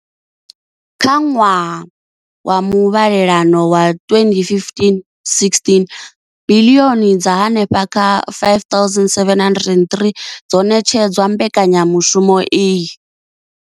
Kha ṅwaha wa muvhalelano wa 2015-16, biḽioni dza henefha kha R5 703 dzo ṋetshedzwa mbekanyamushumo iyi.